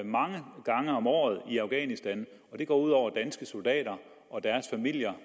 mange gange om året i afghanistan og det går ud over danske soldater og familierne